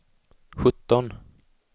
sjutton